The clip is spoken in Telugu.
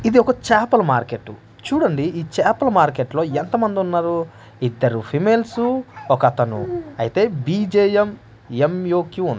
ఇదొక చేపల మార్కెట్టు చూడండి ఈ చేపల మార్కెట్ లో ఎంతమందున్నారు ఇద్దరు ఫిమేల్సు ఒకతను అయితే బి_జే_యం_ఎం_యు క్వీన్ .